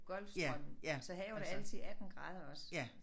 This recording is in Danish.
Golfstrømmen. Så havet er altid 18 grader også